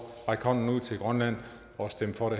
hånden ud til grønland og stem for